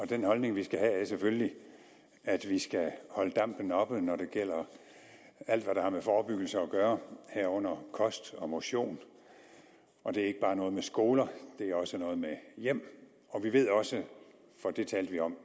den holdning vi skal have er selvfølgelig at vi skal holde dampen oppe når det gælder alt hvad der har med forebyggelse at gøre herunder kost og motion og det er ikke bare noget med skoler det er også noget med hjem vi ved også for det talte vi om